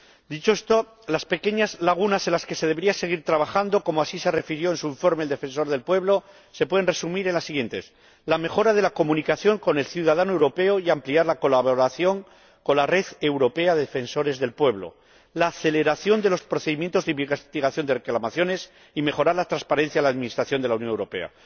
Dicho esto, las pequeñas lagunas en las que se debería seguir trabajando —como así refirió en su informe el Defensor del Pueblo Europeo— se pueden resumir en las siguientes la mejora de la comunicación con el ciudadano europeo y la ampliación de la colaboración con la Red Europea de Defensores del Pueblo, la aceleración de los procedimientos de investigación de reclamaciones y la mejora de la transparencia en la administración de la Unión Europea.